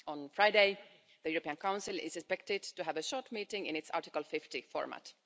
On Friday, the European Council is expected to have a short meeting in its Article 50 format.